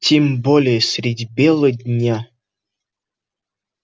тем более средь бела дня